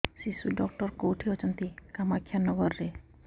ଶିଶୁ ଡକ୍ଟର କୋଉଠି ଅଛନ୍ତି କାମାକ୍ଷାନଗରରେ